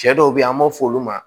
Cɛ dɔw be yen an b'o f'olu ma